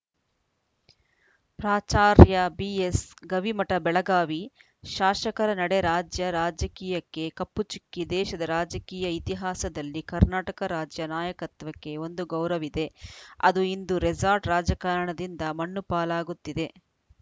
ಪ್ರಾಚಾರ‍್ಯ ಬಿಎಸ್‌ ಗವಿಮಠ ಬೆಳಗಾವಿ ಶಾಸಕರ ನಡೆ ರಾಜ್ಯ ರಾಜಕೀಯಕ್ಕೆ ಕಪ್ಪು ಚುಕ್ಕೆ ದೇಶದ ರಾಜಕೀಯ ಇತಿಹಾಸದಲ್ಲಿ ಕರ್ನಾಟಕ ರಾಜ್ಯ ನಾಯಕತ್ವಕ್ಕೆ ಒಂದು ಗೌರವಿದೆ ಅದು ಇಂದು ರೆಸಾರ್ಟ್‌ ರಾಜಕಾರಣದಿಂದ ಮಣ್ಣು ಪಾಲಗುತ್ತಿದೆ